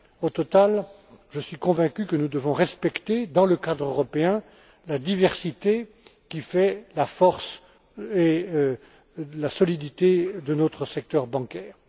Au total, je suis convaincu que nous devons respecter, dans le cadre européen, la diversité qui fait la force et la solidité de notre secteur bancaire.